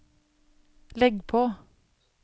legg på